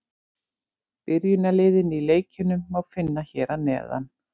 Byrjunarliðin í leikjunum má finna hér að neðan.